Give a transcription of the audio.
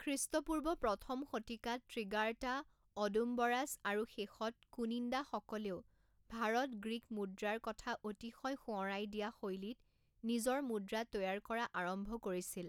খ্ৰীষ্টপূৰ্ব প্ৰথম শতিকাত ত্ৰিগাৰ্টা অ'ডুম্বৰাছ আৰু শেষত কুনিন্দাসকলেও ভাৰত-গ্ৰীক মুদ্ৰাৰ কথা অতিশয় সোঁৱৰাই দিয়া শৈলীত নিজৰ মুদ্ৰা তৈয়াৰ কৰা আৰম্ভ কৰিছিল।